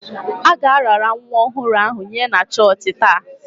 A ga-arara nwa ọhụrụ ahụ nye na chọọchị taa.